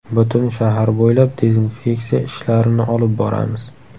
Butun shahar bo‘ylab dezinfeksiya ishlarini olib boramiz.